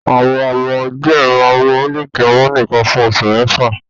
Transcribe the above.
Àwọn ọmọ ọwọ́ díẹ̀ máa ń mu mílìkì ọmú nìkan fún oṣù mẹ́fà